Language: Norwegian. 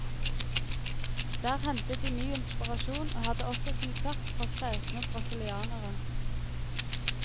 Der hentet de ny inspirasjon og hadde også konsert for kresne brasilianere.